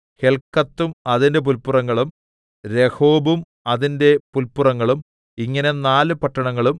ഹെല്‍ക്കത്തും അതിന്റെ പുല്പുറങ്ങളും രഹോബും അതിന്റെ പുല്പുറങ്ങളും ഇങ്ങനെ നാല് പട്ടണങ്ങളും